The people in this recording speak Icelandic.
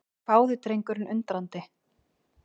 hváði drengurinn undrandi.